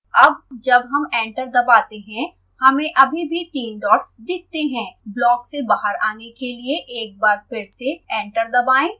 अब जब हम एंटर दबाते हैं हमें अभी भी तीन डॉट्स दिखते हैं ब्लॉक से बाहर आने के लिए एक बार फिर से एंटर दबाएं